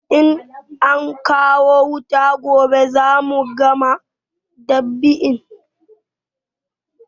In ankawo wuta gobe za mu gama dab'in